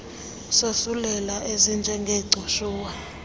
zosulelayo ezinje ngegcushuwa